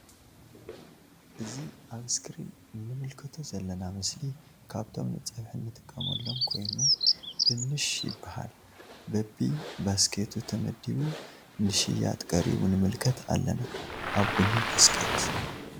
እዚ ኣብ እስክሪን እንምልከቶ ዘለና ምስሊ ካብቶም ንጸብሒ እንጥቅርመሎ ኮይኑ ድንስ ይበሃል ።በቢ ባስኬቱ ተመዲቡ ንሽያጥ ቀሪቡ ንምልከት ኣለና ኣብ ቡኒ ባስኬት።